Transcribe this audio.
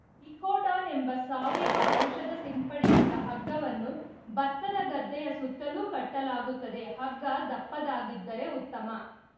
ಇಕೋಡಾನ್‌ ಎಂಬ ಸಾವಯವ ಔಷಧ ಸಿಂಪಡಿಸಿದ ಹಗ್ಗವನ್ನು ಬತ್ತದ ಗದ್ದೆಯ ಸುತ್ತಲೂ ಕಟ್ಟಲಾಗುತ್ತದೆ ಹಗ್ಗ ದಪ್ಪದಾಗಿದ್ದರೆ ಉತ್ತಮ